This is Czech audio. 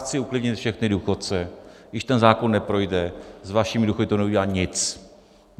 Chci uklidnit všechny důchodce, když ten zákon neprojde, s vašimi důchody to neudělá nic!